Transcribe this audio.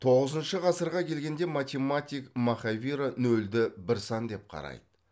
тоғызыншы ғасырға келгенде математик махавира нөлді бір сан деп қарайды